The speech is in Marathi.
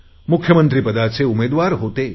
मुख्यमंत्री पदाचे उमेदवार होते